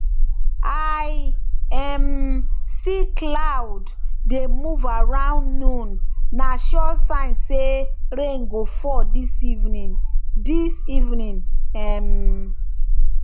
i um see cloud dey move around noon na sure sign say rain go fall this evening this evening um